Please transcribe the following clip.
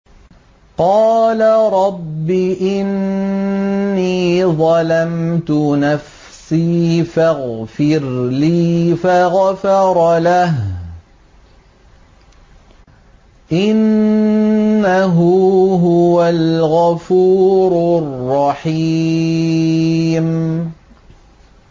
قَالَ رَبِّ إِنِّي ظَلَمْتُ نَفْسِي فَاغْفِرْ لِي فَغَفَرَ لَهُ ۚ إِنَّهُ هُوَ الْغَفُورُ الرَّحِيمُ